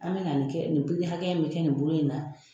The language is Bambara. An bɛ na nin kɛ nin pikiri hakɛya in bɛ kɛ nin bolo in na